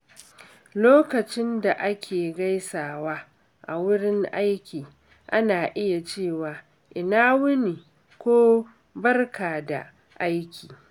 Lokacin da ake gaisawa a wurin aiki, ana iya cewa "Ina wuni" ko "Barka da aiki."